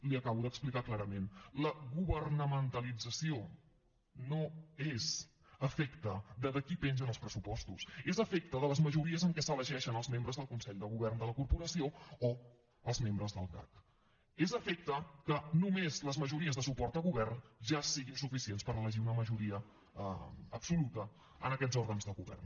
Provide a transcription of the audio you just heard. li ho acabo d’explicar clarament la governamentalització no és efecte de qui pengen els pressupostos és efecte de les majories amb què s’elegeixen els membres del consell de govern de la corporació o els membres del cac és efecte que només les majories de suport a govern ja siguin suficients per elegir una majoria absoluta en aquests òrgans de govern